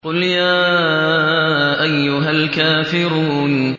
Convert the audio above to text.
قُلْ يَا أَيُّهَا الْكَافِرُونَ